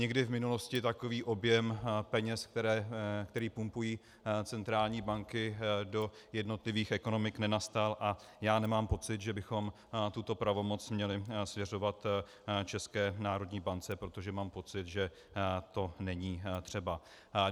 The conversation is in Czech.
Nikdy v minulosti takový objem peněz, který pumpují centrální banky do jednotlivých ekonomik, nenastal a já nemám pocit, že bychom tuto pravomoc měli svěřovat České národní bance, protože mám pocit, že to není třeba.